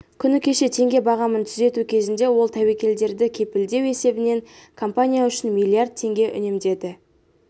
күні кеше теңге бағамын түзету кезінде ол тәуекелдерді кепілдеу есебінен компания үшін миллиард теңге үнемдеді